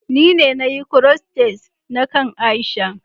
ni ne na Yi "crochet na kain Aisha.